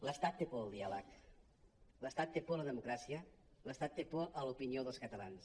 l’estat té por del diàleg l’estat té por de la democràcia l’estat té por de l’opinió dels catalans